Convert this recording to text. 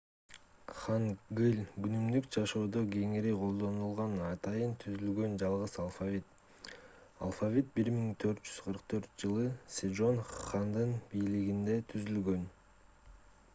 хангыль — күнүмдүк жашоодо кеңири колдонулган атайын түзүлгөн жалгыз алфавит. алфавит 1444-жылы сежон хандын бийлигинде 1418–1450 түзүлгөн